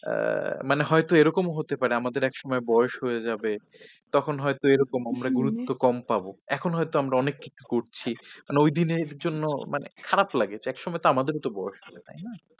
আহ মানে হয়ত এরকম ও হতে পারে আমাদের একসময় বয়েস হয়ে যাবে তখন হয়ত এরকম আমরা গুরুত্ব কম পাব। এখন হয়ত আমরা অনেক কিছু করছি, মানে ওই দিনের জন্য মানে খারাপ লাগে। একসময় তো আমাদেরও বয়স তাই না।